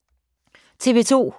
TV 2